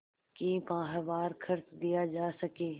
कि माहवार खर्च दिया जा सके